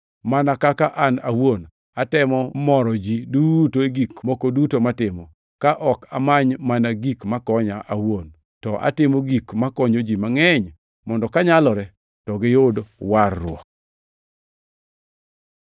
mana kaka an awuon atemo moro ji duto e gik moko duto matimo, ka ok amany mana gik makonya an awuon, to atimo gik makonyo ji mangʼeny, mondo kanyalore to giyud warruok.